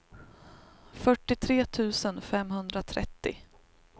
fyrtiotre tusen femhundratrettio